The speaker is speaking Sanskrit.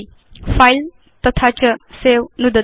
फिले तथा च सवे नुदतु